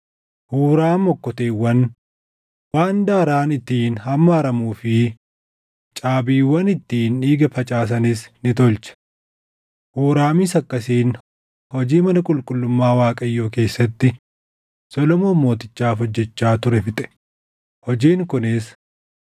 Huuraam okkoteewwan, waan daaraan ittiin hammaaramuu fi caabiiwwan ittiin dhiiga facaasanis ni tolche. Huuraamis akkasiin hojii mana qulqullummaa Waaqayyoo keessatti Solomoon Mootichaaf hojjechaa ture fixe; hojiin kunis: